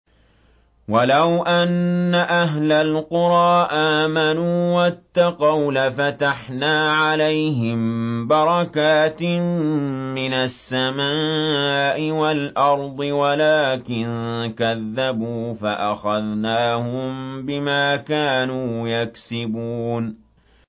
وَلَوْ أَنَّ أَهْلَ الْقُرَىٰ آمَنُوا وَاتَّقَوْا لَفَتَحْنَا عَلَيْهِم بَرَكَاتٍ مِّنَ السَّمَاءِ وَالْأَرْضِ وَلَٰكِن كَذَّبُوا فَأَخَذْنَاهُم بِمَا كَانُوا يَكْسِبُونَ